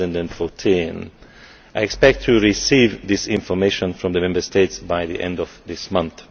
2014. I expect to receive this information from the Member States by the end of this month.